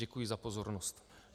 Děkuji za pozornost.